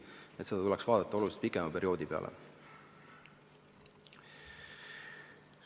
Nii et seda asjaolu tuleks vaadata oluliselt pikema perioodi pealt.